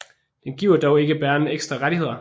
Den giver dog ikke bæreren ekstra rettigheder